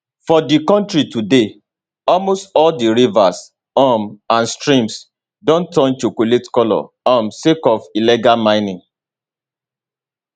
for di kontri today almost all di rivers um and streams don turn chocolate colour um sake of illegal mining